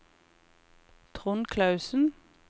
Trond Klausen